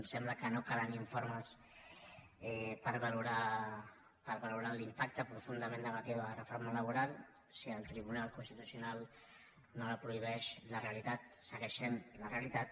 sembla que no calen informes per valorar l’im·pacte profundament negatiu de la reforma laboral si el tribunal constitucional no la prohibeix la realitat segueix sent la realitat